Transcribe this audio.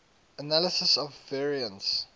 analysis of variance